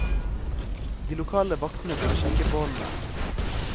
De lokale vaktene burde sjekke båndene.